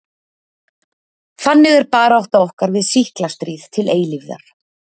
Þannig er barátta okkar við sýkla stríð til eilífðar.